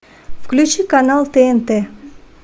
включи канал тнт